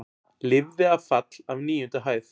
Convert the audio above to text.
Lifði af fall af níundu hæð